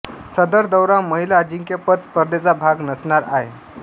सदर दौरा महिला अजिंक्यपद स्पर्धेचा भाग नसणार आहे